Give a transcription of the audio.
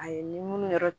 A ye ni munnu yɛrɛ